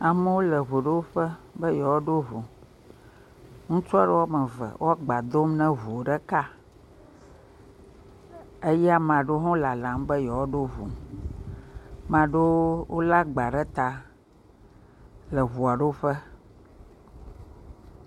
Amewo le ŋoɖoƒe be yewoaɖo ŋu, ŋutsua aɖe woame eve woaagba dom ne ŋu ɖeka eye ame aɖewo hã lalam be yewoaɖo ŋu, ame aɖewo hã lé agba ɖe ta le ŋuaɖoƒe.